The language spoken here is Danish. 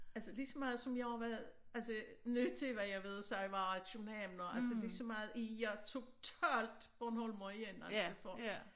Altså lige så meget som jeg har været altså øh nødt til hvad jeg ved sig være københavner altså lige så meget er jeg totalt bornholmer igen altså for